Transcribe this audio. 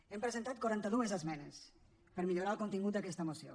hem presentat quaranta dues esmenes per millorar el contingut d’aquesta moció